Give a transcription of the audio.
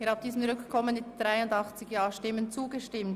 Sie haben dem Antrag auf Rückkommen zugestimmt.